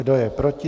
Kdo je proti?